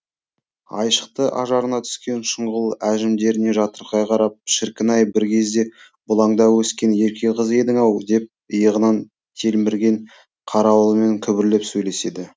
айшықты ажарына түскен шұңғыл әжімдеріне жатырқай қарап шіркін ай бір кезде бұлаңдап өскен ерке қыз едің ау деп иығынан телмірген қарауылымен күбірлеп сөйлеседі